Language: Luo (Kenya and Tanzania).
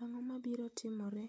Ang'o mabiro timore